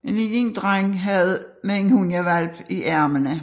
En lille dreng med en hundehvalp i armene